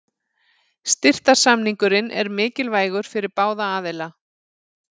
Styrktarsamningurinn er mikilvægur fyrir báða aðila.